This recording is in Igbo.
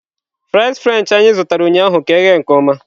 Fries french anyị zụtara ụnyaahụ ka eghe nke ọma